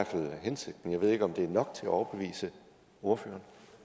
fald hensigten jeg ved ikke om det er nok til at overbevise ordføreren